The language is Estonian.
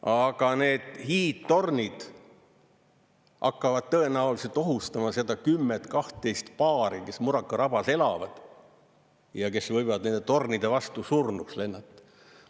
Aga need hiidtornid hakkavad tõenäoliselt ohustama seda 10–12 paari, kes Muraka rabas elavad ja kes võivad nende tornide vastu surnuks lennata.